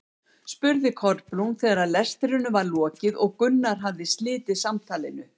spurði Kolbrún þegar lestrinum var lokið og Gunnar hafði slitið samtalinu.